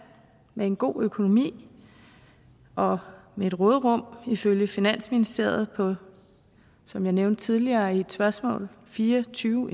med en god økonomi og med et råderum ifølge finansministeriet på som jeg nævnte tidligere i et spørgsmål fire og tyve